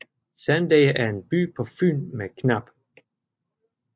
Sandager er en by på Fyn med knap